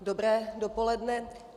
Dobré dopoledne.